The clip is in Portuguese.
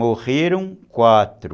Morreram quatro.